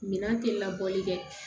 Minan tɛ labɔli kɛ